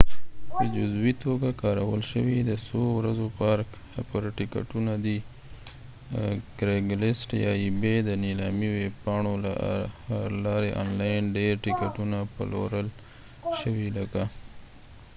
د نیلامي ویب پاڼو له لارې آنلاین ډیر ټیکټونه پلورل شوي لکه ebay یا craigslist په جزوي توګه کارول شوي د څو ورځو پارک هپر ټیکټونه دی